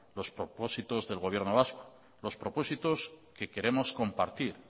los propósitos del gobierno vasco los propósitos que queremos compartir